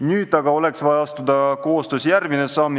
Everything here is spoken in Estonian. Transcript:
Nüüd aga oleks vaja koostöös järgmine samm astuda.